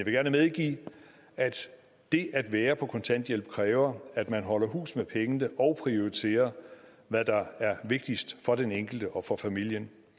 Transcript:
gerne medgive at det at være på kontanthjælp kræver at man holder hus med pengene og prioriterer hvad der er vigtigst for den enkelte og for familien